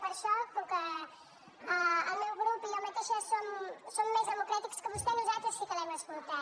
per això com que el meu grup i jo mateixa som més democràtics que vostè nosaltres sí que l’hem escoltat